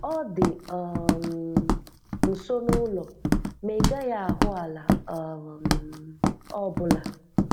Ó dị um nso n’ụlọ, ma ị gaghị ahụ́ àlá um ọ̀ bụ́la.